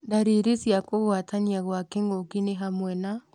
Ndariri cia kũgwatania Kwa kĩng'uki ni hamwe na